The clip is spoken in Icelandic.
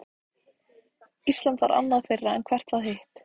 Ísland var annað þeirra, en hvert var hitt?